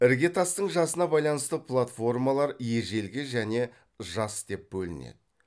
іргетастың жасына байланысты платформалар ежелгі және жас деп бөлінеді